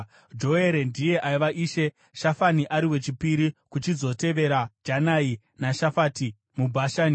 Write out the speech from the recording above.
Joere ndiye aiva ishe, Shafami ari wechipiri, kuchizotevera Janai naShafati, muBhashani.